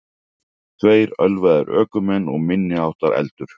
Tveir ölvaðir ökumenn og minniháttar eldur